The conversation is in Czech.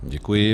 Děkuji.